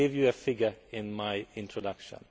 I gave you a figure in my introduction.